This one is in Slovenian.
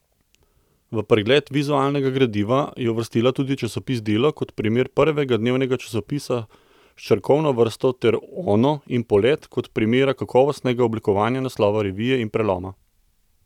V pregled vizualnega gradiva je uvrstila tudi časopis Delo kot primer prvega dnevnega časopisa s črkovno vrsto ter Ono in Polet kot primera kakovostnega oblikovanja naslova revije in preloma.